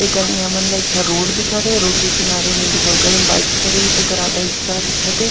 एकनि हमन ला एक ठ रोड दिखत हे रोड के किनारे में एदे बगल म बाइक खड़े हे तेकर आधा हिस्सा दिखत हे।